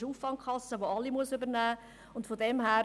Das ist eine Auffangkasse, welche alle übernehmen muss.